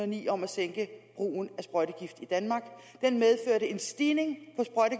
ni om at sænke brugen af sprøjtegift i danmark den medførte en stigning